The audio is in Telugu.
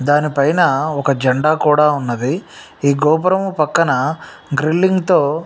దాని పైన ఒక జెండా కూడా ఉన్నదీ ఈ గోపురం పక్కన గ్రిల్లింగ్ తో --